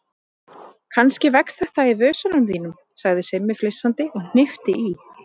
Kannski vex þetta í vösunum þínum sagði Simmi flissandi og hnippti í